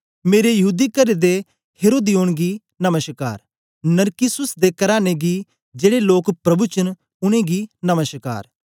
मेरे यहूदी करे दे हेरोदियोन गी नमश्कार नरकिस्सुस दे कराने गी जेड़े लोक प्रभु च न उनेंगी नमश्कार